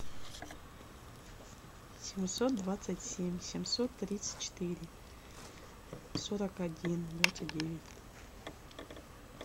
семьсот двадцать семь семьсот тридцать четыре сорок один двадцать девять